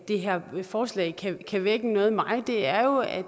det her forslag kan vække noget i mig er jo at